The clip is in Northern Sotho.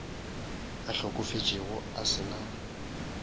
a hlokofetšego a se na